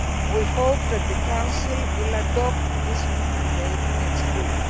time. We hope that the Council will adopt this new mandate next